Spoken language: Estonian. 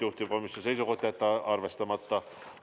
Juhtivkomisjoni seisukoht: jätta arvestamata.